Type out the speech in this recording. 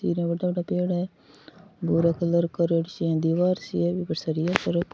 मोटा मोटा पेड़ है भूरो कलर को दिवार सी है बी पर सरिया सा --